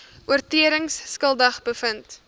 oortredings skuldig bevind